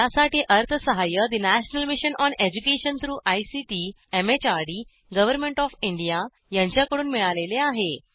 यासाठी अर्थसहाय्य national mission on education through ICT MHRD government O F India यांच्याकडून मिळालेले आहे